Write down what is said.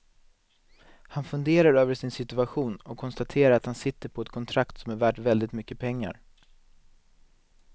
Han funderar över sin situation och konstaterar att han sitter på ett kontrakt som är värt väldigt mycket pengar.